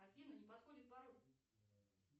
афина не подходит пароль